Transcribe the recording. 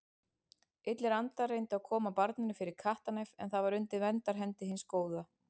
Illir andar reyndu að koma barninu fyrir kattarnef en það var undir verndarhendi hins góða.